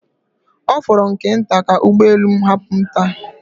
Ọ fọrọ nke nta ka ụgbọ elu m hapụ m taa